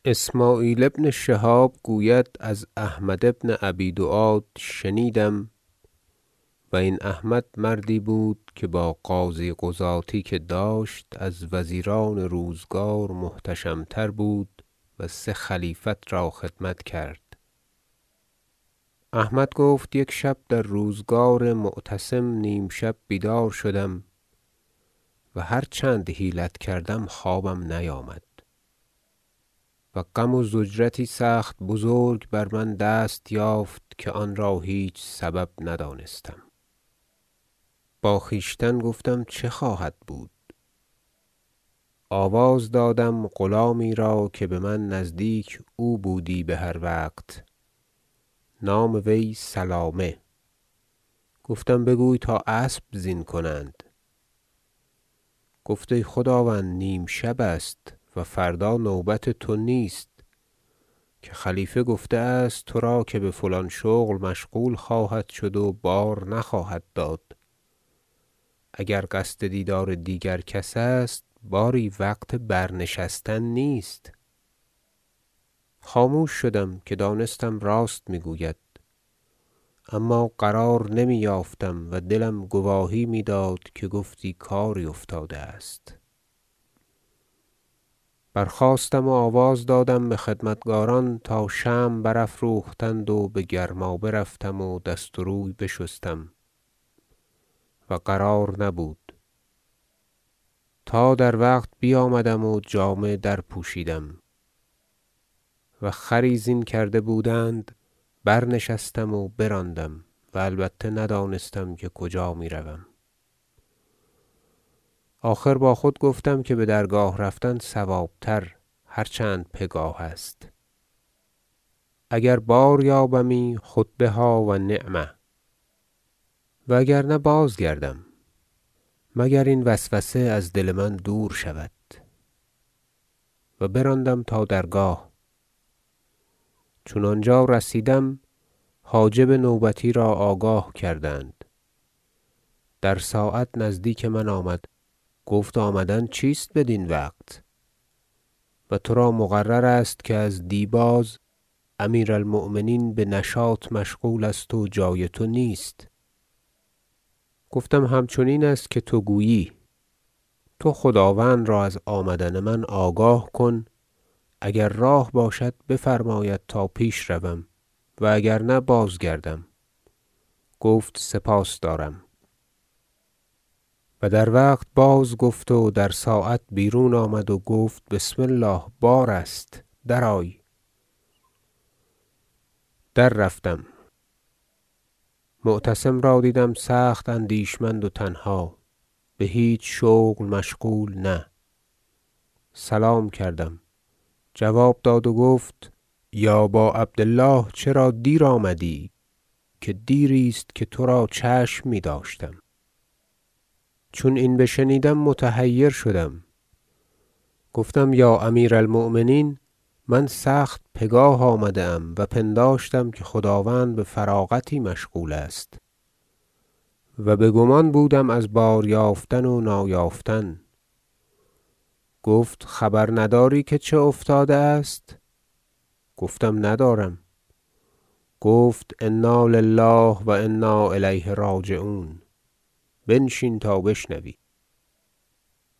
ذکر حکایت افشین و خلاص یافتن بودلف از وی اسمعیل بن شهاب گوید از احمد بن ابی دواد شنیدم- و این احمد مردی بود که با قاضی قضاتی که داشت از وزیران روزگار محتشم تر بود و سه خلیفت را خدمت کرد- احمد گفت یک شب در روزگار معتصم نیم شب بیدار شدم و هرچند حیلت کردم خوابم نیامد و غم و ضجرتی سخت بزرگ بر من دست یافت که آن را هیچ سبب ندانستم با خویشتن گفتم چه خواهد بود آواز دادم غلامی را که بمن نزدیک او بودی بهر وقت نام وی سلامه گفتم بگوی تا اسب زین کنند گفت ای خداوند نیم شب است و فردا نوبت تو نیست که خلیفه گفته است ترا که بفلان شغل خواهد شد و بار نخواهد داد اگر قصد دیدار دیگر کس است باری وقت برنشستن نیست خاموش شدم که دانستم راست میگوید اما قرار نمی یافتم و دلم گواهی میداد که گفتی کاری افتاده است برخاستم و آواز دادم بخدمتکاران تا شمع برافروختند و بگرمابه رفتم و دست و روی بشستم و قرار نبود تا در وقت بیامدم و جامه درپوشیدم و خری زین کرده بودند برنشستم و براندم و و البته ندانستم که کجا میروم آخر با خود گفتم که بدرگاه رفتن صواب تر هرچند پگاه است اگر باریابمی خود بها و نعم و اگر نه بازگردم مگر این وسوسه از دل من دور شود و براندم تا درگاه چون آنجا رسیدم حاجب نوبتی را آگاه کردند در ساعت نزدیک من آمد گفت آمدن چیست بدین وقت و ترا مقرر است که ازدی باز امیر المؤمنین بنشاط مشغول است و جای تو نیست گفتم همچنین است که تو گویی تو خداوند را از آمدن من آگاه کن اگر راه باشد بفرماید تا پیش روم و اگرنه بازگردم گفت سپاس دارم و در وقت بازگفت و در ساعت بیرون آمد و گفت بسم الله بار است درآی در رفتم معتصم را دیدم سخت اندیشمند و تنها بهیچ شغل مشغول نه سلام کردم جواب داد و گفت یا با عبد الله چرا دیر آمدی که دیری است که ترا چشم میداشتم چون این بشنیدم متحیر شدم گفتم یا امیر المؤمنین من سخت پگاه آمده ام و پنداشتم که خداوند بفراغتی مشغول است و بگمان بودم از بار یافتن و نایافتن گفت خبر نداری که چه افتاده است گفتم ندارم گفت انا لله و انا الیه راجعون بنشین تا بشنوی